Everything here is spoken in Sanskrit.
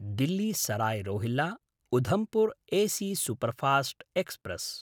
Delhi Sarai रोहिल्ला–उधमपुर् AC superfast express